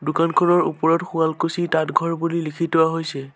দোকানখনৰ ওপৰত শুৱালকুছি তাঁত ঘৰ বুলি লিখি থোৱা হৈছে।